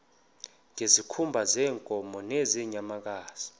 ngezikhumba zeenkomo nezeenyamakazi